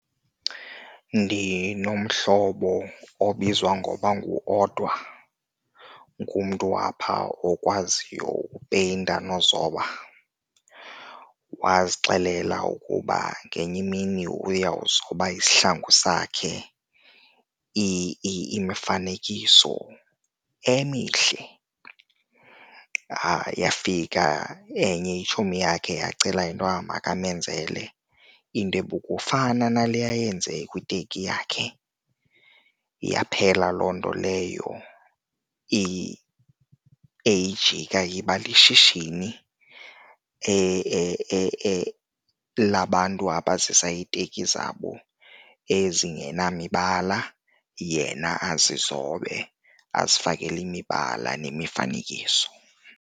Ndinomhlobo obizwa ngoba nguOdwa, ngumntu apha okwaziyo upeyinta nozoba. Wazixelela ukuba ngenye imini uyawuzoba isihlangu sakhe imifanekiso emihle, yafika enye itshomi yakhe yacela intoba makamenzele into ebukufana nale yayenze kwiteki yakhe. Yaphela loo nto leyo eyijika iba lishishini labantu abazisa iiteki zabo ezingenamibala yena azizobe, azifakele imibala nemifanekiso.